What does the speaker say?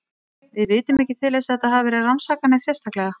Við vitum ekki til þess að þetta hafi verið rannsakað neitt sérstaklega.